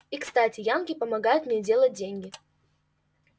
и кстати янки помогают мне делать деньги